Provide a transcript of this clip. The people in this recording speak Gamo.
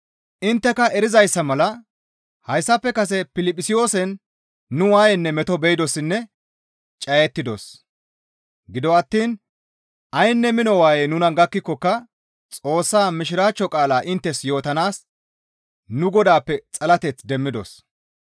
Intteka erizayssa mala hayssafe kase Piliphisiyoosen nu waayenne meto be7idossinne cayettidos; gido attiin aynne mino waayey nuna gakkikokka Xoossa Mishiraachcho qaalaa inttes yootanaas nu Godaappe xalateth demmidos.